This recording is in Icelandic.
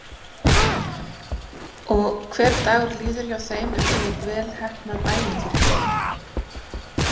Og hver dagur líður hjá þeim einsog vel heppnað ævintýri.